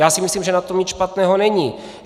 Já si myslím, že na tom nic špatného není.